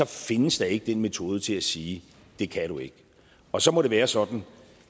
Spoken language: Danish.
findes der ikke den metode til at sige det kan du ikke og så må det være sådan